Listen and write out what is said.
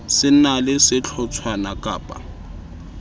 se na le sehlotshwana kappa